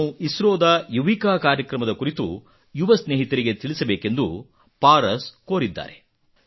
ನಾನು ಇಸ್ರೋದ ಯುವಿಕಾ ಕಾರ್ಯಕ್ರಮದ ಕುರಿತು ಯುವ ಸ್ನೇಹಿತರಿಗೆ ತಿಳಿಸಬೇಕೆಂದು ಪಾರಸ್ ಕೋರಿದ್ದಾರೆ